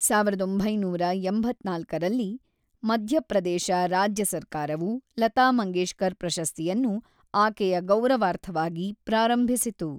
ಸಾವಿರದ ಒಂಬೈನೂರ ಎಂಬತ್ತ್ನಾಲ್ಕರಲ್ಲಿ, ಮಧ್ಯಪ್ರದೇಶ ರಾಜ್ಯ ಸರ್ಕಾರವು ಲತಾ ಮಂಗೇಶ್ಕರ್‌ ಪ್ರಶಸ್ತಿಯನ್ನು ಆಕೆಯ ಗೌರವಾರ್ಥವಾಗಿ ಪ್ರಾರಂಭಿಸಿತು.